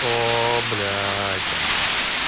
оо блять понятно